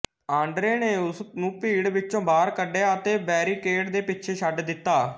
Andre ਨੇ ਉਸ ਨੂੰ ਭੀੜ ਵਿੱਚੋਂ ਬਾਹਰ ਕੱਢਿਆ ਅਤੇ ਬੈਰੀਕੇਡ ਦੇ ਪਿੱਛੇ ਛੱਡ ਦਿੱਤਾ